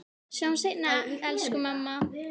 Sjáumst seinna, elsku mamma.